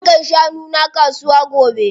Zan kai shanu na kasuwa gobe.